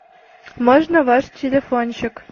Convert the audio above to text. можно ваш телефончик